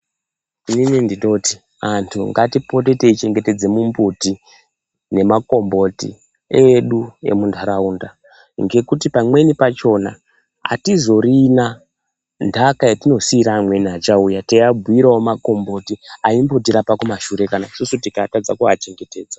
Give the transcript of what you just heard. Ini ndinoti antu ngatipote teichengetedza mumbuti nemakomboti edu emuntaraunda ngekuti pamweni pachona atizorina ntaka yetinosiira amweni achauya teivabhuirawo amweni makomboti aimbotirapa kumashure kana isusu tikatadza kuachengetedza.